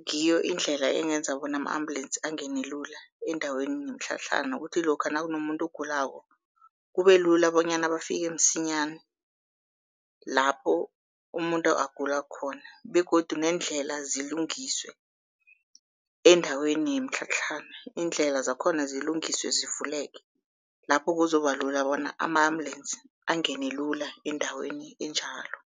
Ngiyo indlela engenza bona ama-ambulensi angene lula endaweni yemitlhatlhana. Kuthi lokha nakunomuntu ogulako kube lula bonyana bafike msinyana lapho umuntu agula khona, begodu neendlela zilungiswe endaweni yemitlhatlhana, iindlela zakhona zilungiswe zivuleke. Lapho kuzokuba lula bona ama-ambulensi angene lula endaweni enjalo.